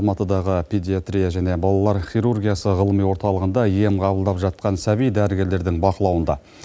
алматыдағы педиатрия және балалар хирургиясы ғылыми орталығында ем қабылдап жатқан сәби дәрігерлердің бақылауында